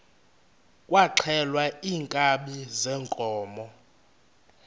kwaxhelwa iinkabi zeenkomo